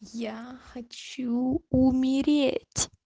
я хочу умереть